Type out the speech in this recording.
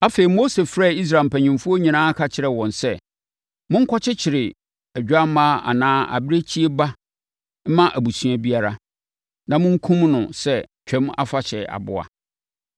Afei, Mose frɛɛ Israel mpanimfoɔ nyinaa ka kyerɛɛ wɔn sɛ, “Monkɔkyekyere odwammaa anaa abirekyie ba mma abusua biara, na monkum no sɛ Twam Afahyɛ aboa.